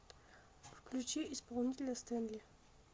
включи исполнителя стэнли